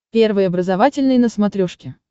первый образовательный на смотрешке